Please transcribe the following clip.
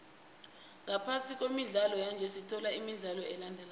ngaphasi kwemidlalo yanje sithola imidlalo elandelako